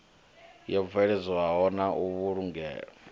yo bveledzwaho na u vhulungwa